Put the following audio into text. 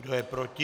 Kdo je proti?